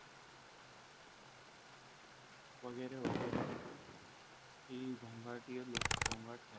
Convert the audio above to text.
વગેરે વગેરે એ ઘોંઘાટીય લોકો ઘોંઘાટ થાય છે.